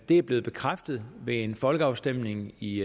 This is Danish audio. er blevet bekræftet ved en folkeafstemning i